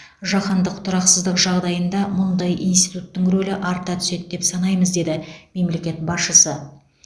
жаһандық тұрақсыздық жағдайында мұндай институттың рөлі арта түседі деп санаймыз деді мемлекет басшысы